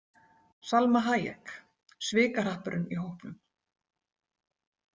Salma Hayek: Svikahrappurinn í hópnum.